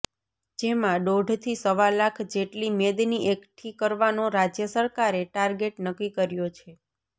જેમાં દોઢથી સવા લાખ જેટલી મેદની એકઠી કરવાનો રાજ્ય સરકારે ટાર્ગેટ નક્કિ કર્યો છે